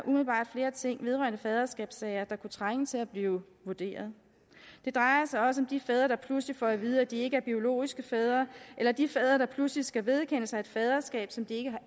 umiddelbart flere ting vedrørende faderskabssager der kunne trænge til at blive vurderet det drejer sig også de fædre der pludselig får at vide at de ikke er biologiske fædre eller de fædre der pludselig skal vedkende sig et faderskab som de ikke har